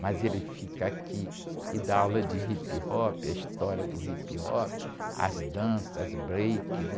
Mas ele fica aqui e dá aula de hip-hop, a história do hip-hop, as danças, as break, né?